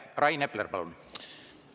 Rain Epler, palun!